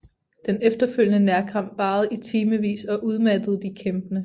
Den efterfølgende nærkamp varede i timevis og udmattede de kæmpende